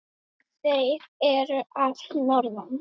Þeir eru að norðan.